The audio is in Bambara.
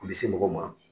U bɛ se mɔgɔ ma